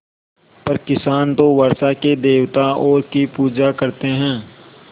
पर किसान तो वर्षा के देवताओं की पूजा करते हैं